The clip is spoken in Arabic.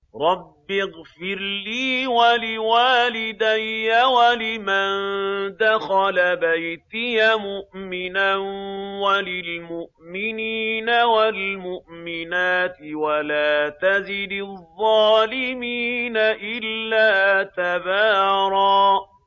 رَّبِّ اغْفِرْ لِي وَلِوَالِدَيَّ وَلِمَن دَخَلَ بَيْتِيَ مُؤْمِنًا وَلِلْمُؤْمِنِينَ وَالْمُؤْمِنَاتِ وَلَا تَزِدِ الظَّالِمِينَ إِلَّا تَبَارًا